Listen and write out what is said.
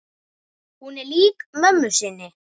Hún er lík mömmu sinni.